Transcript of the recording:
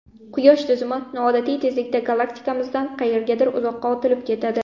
Quyosh tizimi noodatiy tezlikda galaktikamizdan qayergadir uzoqqa otilib ketadi.